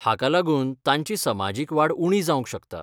हाका लागून तांची समाजीक वाड उणी जावंक शकता.